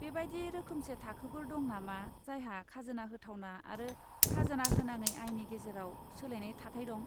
बेबादि रोखोमसे थाखोफोर दं नामा जायहा खाजोना होथावना आरो खाजोना होनाङै आयनि गेजेराव सोलायनाय थाथाय दं?